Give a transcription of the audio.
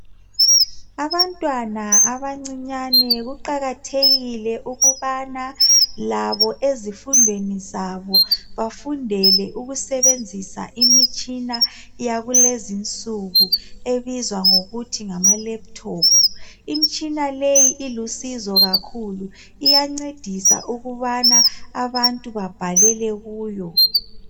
Abantwana abancinyane kuqakathekile ukubana labo ezifundweni zabo bafundele ukusebenzisa imitshina yakulezinsuku ebizwa ngokuthi ngamalephuthophu. Imitshina le ilusizo kakhulu iyancedisa ukubana abantu babhalele kuyo.